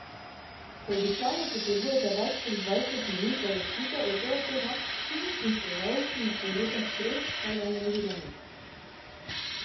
Če običajno potrebujete več kot dvajset minut, da zaspite, je to lahko znak psihičnih težav, ki jih povzroča stres vsakdanjega življenja.